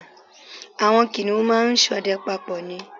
Àwọn kìnìun máa ń ṣọdẹ papọ̀ ni